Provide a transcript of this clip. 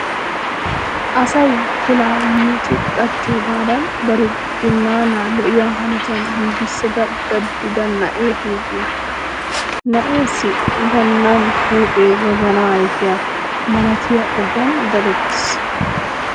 Asay pilaa yiici qachchiyogaadan bari binnaanaa lo"iya hanotan giigissada daddida na"ee huuphiya. Na"eessi gannan huuphee wozanaa ayfiya malatiya ogiyan dadettiis.